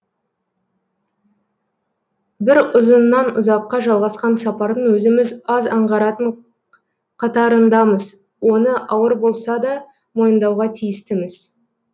бір ұзынан ұзаққа жалғасқан сапардың өзіміз аз аңғаратын қатарындамыз оны ауыр болса да мойындауға тиістіміз